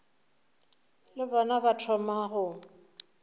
le bona ba thoma go